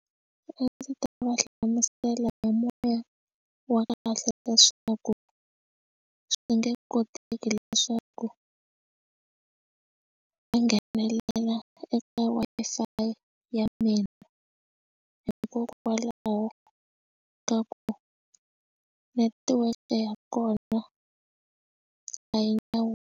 A ndzi ta va hlamusela moya wa kahle leswaku swi nge koteki leswaku va nghenelela eka Wi-Fi ya mina hikokwalaho ka ku netiweke ya kona a hi nawu.